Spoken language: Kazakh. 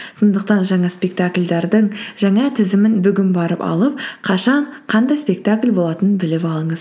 сондықтан жаңа спектакльдердің жаңа тізімін бүгін барып алып қашан қандай спектакль болатынын біліп алыңыз